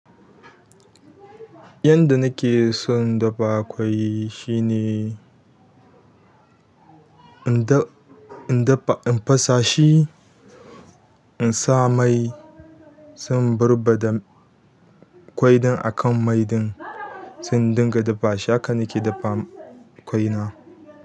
Yadda nake son dabba akwai shine in dafa, in fasa shi, in sa mai sai in barbaɗa kwai din akan mai ɗin sai in dinga dafa shi. Haka nake dafa kwai na.